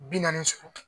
Bi naani so